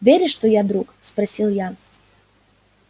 веришь что я друг спросил я